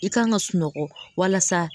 I kan ga sunɔgɔ walasa